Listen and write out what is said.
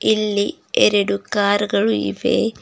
ಇಲ್ಲಿ ಎರಡು ಕಾರ್ ಗಳು ಇವೆ.